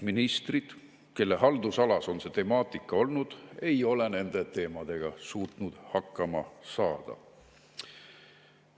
Ministrid, kelle haldusalas on see temaatika olnud, ei ole nende teemadega suutnud hakkama saada.